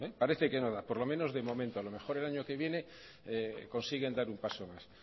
parece que no da por lo menos de momento a lo mejor el año que viene consiguen dar un paso más